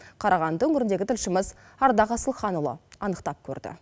қарағанды өңіріндегі тілшіміз ардақ асылханұлы анықтап көрді